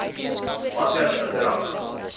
watter bedrag